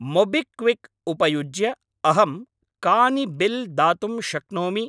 MobiKwik उपयुज्य अहं कानि बिल् दातुं शक्नोमि?